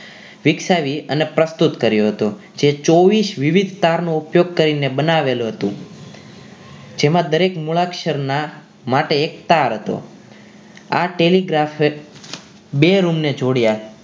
વિકસાવી અને પ્રસ્તુત કર્યો હતો જે ચોવીસ વિવિધ તાર નો ઉપયોગ કરીને બનાવેલો હતો જેમાં દરેક મૂળાક્ષરના માટે એક તાર હતો આ ટેલિગ્રાફ બે room ને જોડ્યા